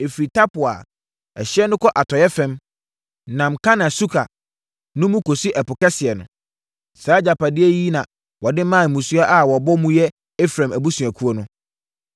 Ɛfiri Tapua a, ɛhyeɛ no kɔ atɔeɛ fam, nam Kana Suka no mu kɔsi Ɛpo Kɛseɛ no. Saa agyapadeɛ yi na wɔde maa mmusua a wɔbɔ mu yɛ Efraim abusuakuo no.